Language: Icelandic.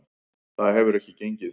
Það hefur ekki gengið.